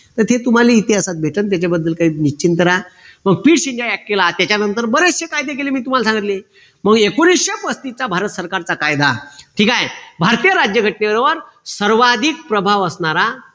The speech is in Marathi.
तर ते तुम्हाले इतिहासात भेटल त्याच्याबद्दल काही निश्चिन्त राहा मग केला त्याच्यानंतर बरेचशे कायदे केले मी तुम्हाला सांगितले मग एकोणीशे पस्तीसचा भारत सरकारचा कायदा ठीक आहे भारतीय राज्यघटनेवर सर्वाधिक प्रभाव असणारा